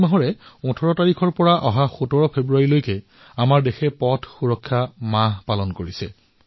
এই মাহটোত ১৮ জানুৱাৰীৰ পৰা ১৭ ফেব্ৰুৱাৰীলৈ আমাৰ দেশত পথ সুৰক্ষা মাহ পালন কৰা হৈছে